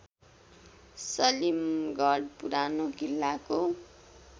सलीमगढ पुरानो किल्लाको